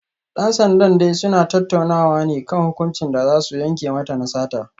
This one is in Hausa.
Dan sandan dai suna tattaunawa ne kan hukuncin da za su yanke mata na sata